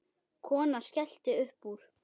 Konan skellti upp úr.